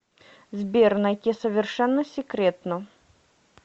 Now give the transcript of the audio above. сбер найти совершенно секретно